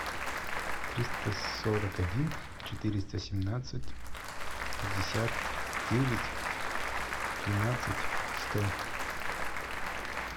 триста сорок один четыреста семнадцать пятьдесят девять двенадцать сто